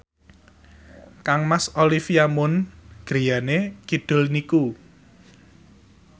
kangmas Olivia Munn griyane kidul niku